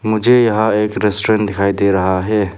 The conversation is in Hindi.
मुझे यहां एक रेस्टोरेंट दिखाई दे रहा है।